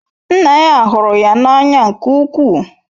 Nna ya hụrụ ya n'anya nke ukwuu.